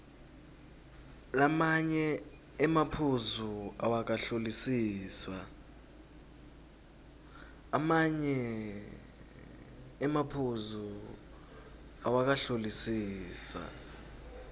lamanye emaphuzu awakahlolisiswa